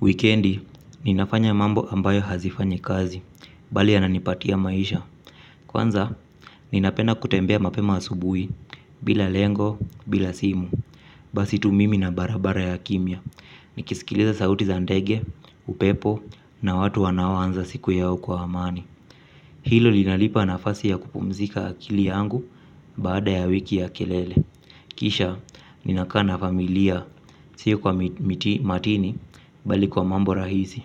Wikendi, ninafanya mambo ambayo hazifanyi kazi, bali yananipatia maisha. Kwanza, ninapenda kutembea mapema asubuhi, bila lengo, bila simu. Basi tu mimi na barabara ya kimya. Nikisikiliza sauti za ndege, upepo, na watu wanaoanza siku yao kwa amani. Hilo linalipa nafasi ya kupumzika akili yangu, baada ya wiki ya kelele. Kisha, ninakaa na familia, sio kwa matini, bali kwa mambo rahisi.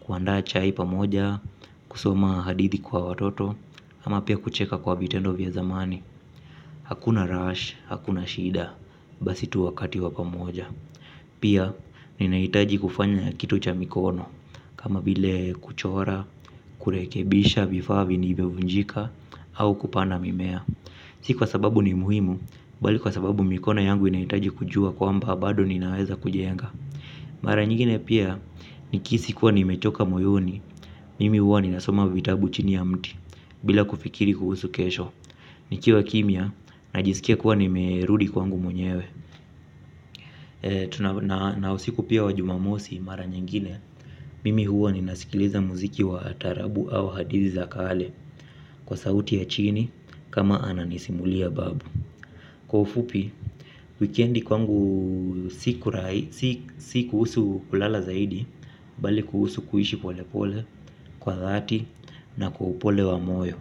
Kuandaa chai pamoja, kusoma hadithi kwa watoto, ama pia kucheka kwa vitendo vya zamani. Hakuna 'rush', hakuna shida, basi tu wakati wa pamoja. Pia, ninahitaji kufanya kitu cha mikono, kama vile kuchora, kurekebisha vifaa vilivyovunjika, au kupanda mimea. Si kwa sababu ni muhimu, bali kwa sababu mikono yangu inahitaji kujua kwamba bado ninaweza kujenga. Mara nyingine pia, nikihisi kuwa nimechoka moyoni, mimi huwa ninasoma vitabu chini ya mti, bila kufikiri kuhusu kesho. Nikiwa kimya, najisikia kuwa nimerudi kwangu mwenyewe. Na usiku pia wa Jumamosi mara nyingine, mimi huwa ninasikiliza muziki wa taarabu au hadithi za kale. Kwa sauti ya chini, kama ananisimulia babu. Kwa ufupi, wikendi kwangu si kuhusu kulala zaidi. Bali kuhusu kuishi pole pole kwa dhati, na kwa upole wa moyo.